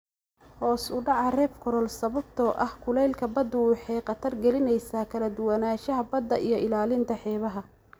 Hoos u dhaca reef coral sababtoo ah kulaylka baddu waxay khatar gelinaysaa kala duwanaanshaha badda iyo ilaalinta xeebaha.